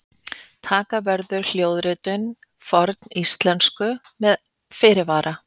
Taka verður hljóðritun forníslensku með fyrirvara!